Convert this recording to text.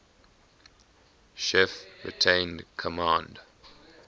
chief retained command